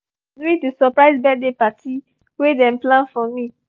i fall for stairs during the surprise birthday party wey dem plan for me